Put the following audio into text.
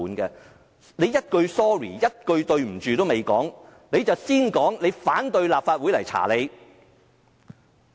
他一句對不起都沒有，便先說反對立法會進行調查。